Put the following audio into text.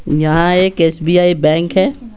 यहां एक SBI bank है।